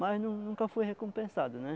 Mas nun nunca fui recompensado, né?